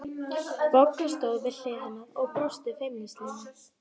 Bogga stóð við hlið hennar og brosti feimnislega.